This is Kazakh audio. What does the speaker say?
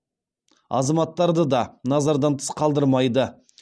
азаматтарды да назардан тыс қалдырмайды